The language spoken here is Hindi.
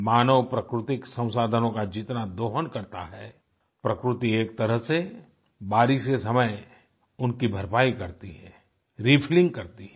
मानव प्राकृतिक संसाधनों का जितना दोहन करता है प्रकृति एक तरह से बारिश के समय उनकी भरपाई करती है रिफिलिंग करती है